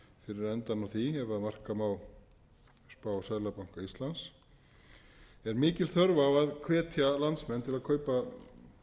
því ef marka má spá seðlabanka íslands er mikil þörf á að hvetja landsmenn til að kaupa